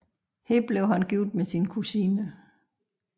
Her blev han gift med sin kusine